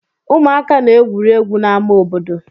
Ụmụaka na-egwuri egwu n'ámá obodo.